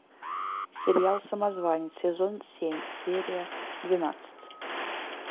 сериал самозванец сезон семь серия двенадцать